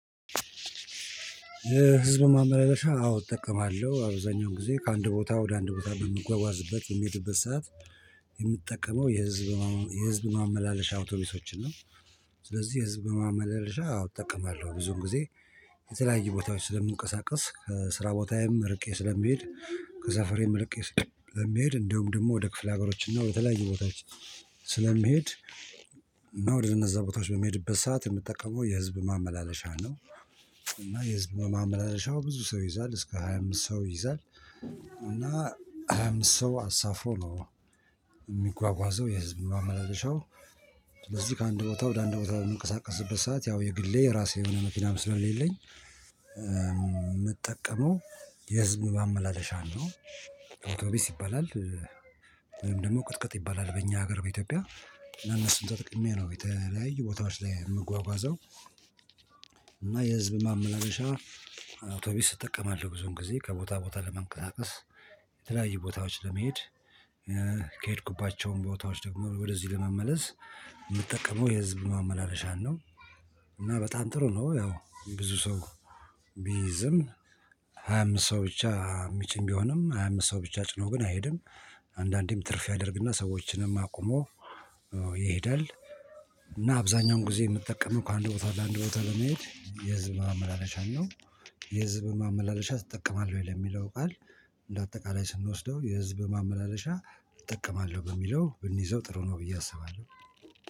ህዝብ ማመላለሻ አዎ እጠቀማለሁ አብዛኛው ጊዜ ከአንድ ቦታ ወደ አንድ ቦታ በምጓጓዝበት በምሄድበት ሰዓት የምጠቀመው የህዝብ የህዝብ ማመላለሻ አውቶቢሶችን ነው። ስለዚህ የህዝብ ማመለሻ አዎ እጠቅማለሁ ብዙውን ጊዜ የተለያየ ቦታዎች ስለምንቀሳቀስ ከስራ ቦታዬም እርቄ ስለምሄድ ከሰፈሬም ርቄ ስለምሄድ እንዲሁም ደግሞ ወደ ክፍለ ሀገሮችና ወደተለያዩ ቦታዎች። ስለምሄድ እና ወደ እነዛ ቦታዎች በምሄዱበት ሰዓት የምጠቀመው የህዝብ ማመላለሻ ነው። እና የህዝብ ማመላለሻው ብዙ ሰው ይይዛል እስከ ሃያ አምስት ሰው ይይዛል እና ሃያ አምስት ሰው አሳፍሮ ነው የሚጓጓዘው የህዝብ ማላለሻው። ስለዚህ ከአንድ ቦታ ወደ አንድ ቦታ በምንቀሳቀስበት ሰዓት ያው የግሌ የራሴ የሆነ መኪናም ስለሌለኝ የምጠቀመው የህዝብ ማመላለሻ ነው። አውቶቢስ ይባላል። ወይም ደግሞ ቅጥቅጥ ይባላል በእኛ ሀገር በኢትዮጵያ እና እነሱን ተጠቅሜ ነው የተለያዩ ቦታዎች ላይ የምጓጓዘው። እና የህዝብ ማመላለሻ አውቶቢስ እጠቀማለሁ ብዙውን ጊዜ ከቦታ ቦታ ለመንቀሳቀስ የተለያዩ ቦታዎች ለመሄድ። ከሄድኩባቸውም ቦታዎች ደግሞ ወደዚህ ለመመለስ የምጠቀመው የህዝብ ማመላለሻን ነው። እና በጣም ጥሩ ነው ያው ብዙ ሰው ቢይዝም ሃያ አምስት ሰው ብቻ የሚጭን ቢሆንም ሃያ አምስት ሰው ብቻ ጭኖ ግን አይሄድም። አንዳንዴም ትርፍ ያደርግና ሰዎችንም አቁሞ ይሄዳል። እና አብዛኛውን ጊዜ የምጠቀመው ከአንድ ቦታ ወደ አንድ ቦታ ለመሄድ የህዝብ ማመላለሻን ነው። የህዝብ ማመላለሻ ትጠቀማለህ ወይ ለሚለው ቃል? እንደ አጠቃላይ ስንወስደው የህዝብ ማመላለሻ እጠቀማለሁ በሚለው ብንይዘው ጥሩ ነው ብዬ አስባለሁ